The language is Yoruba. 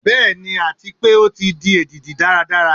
Bẹ́ẹ̀ni, ati pe o ti di edidi daradara